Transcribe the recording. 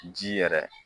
Ji yɛrɛ